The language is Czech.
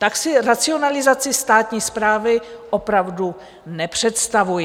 Tak si racionalizaci státní správy opravdu nepředstavuji.